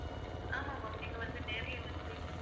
ஆமா ma'am நீங்க வந்து நேர்ல வந்து